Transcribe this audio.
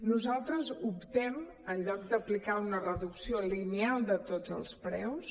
nosaltres optem en lloc d’aplicar una reducció lineal de tots els preus